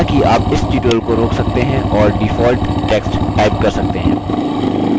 हालाँकि आप इस tutorial को रोक सकते हैं और default text type कर सकते हैं